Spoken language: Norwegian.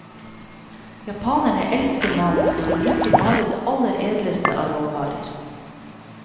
Japanerne elsker mat, og de bruker bare det aller edleste av råvarer.